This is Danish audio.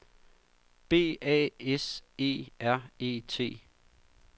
B A S E R E T